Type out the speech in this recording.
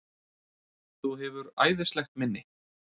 Þú hefur æðislegt minni!